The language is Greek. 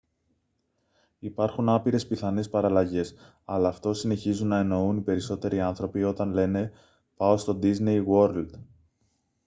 υπάρχουν άπειρες πιθανές παραλλαγές αλλά αυτό συνεχίζουν να εννοούν οι περισσότεροι άνθρωποι όταν λένε «πάω στο ντίσνεϊ γουορλντ»